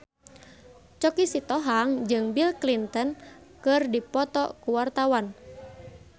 Choky Sitohang jeung Bill Clinton keur dipoto ku wartawan